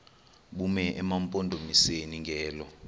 bume emampondomiseni ngelo